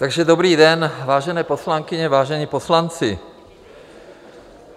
Takže dobrý den, vážené poslankyně, vážení poslanci.